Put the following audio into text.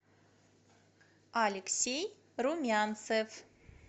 алексей румянцев